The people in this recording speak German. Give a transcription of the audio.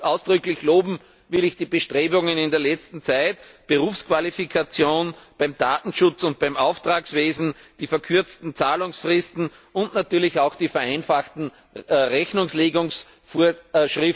Ausdrücklich loben will ich die Bestrebungen in der letzten Zeit betreffend die Berufsqualifikation beim Datenschutz und beim Auftragswesen, die verkürzten Zahlungsfristen und natürlich auch die vereinfachten Rechnungslegungsvorschriften.